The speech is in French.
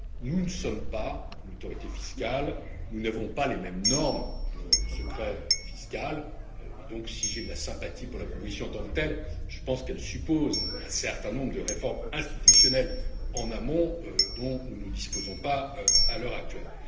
Nous ne sommes pas une autorité fiscale, nous n'avons pas les mêmes normes de secret fiscal, donc si j'ai de la sympathie pour la proposition en tant que telle, je pense qu'elle suppose un certain nombre de réformes institutionnelles en amont dont nous ne disposons pas à l'heure actuelle.